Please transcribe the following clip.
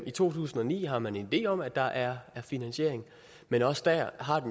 i to tusind og ni har man en idé om at der er finansiering men også der har